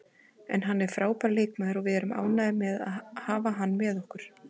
En hann er frábær leikmaður og við erum ánægðir með að hafa hann með okkur.